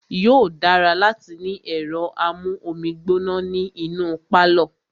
Yóò dára láti ní ẹ̀rọ amú omi gbóná ní inú pálọ̀.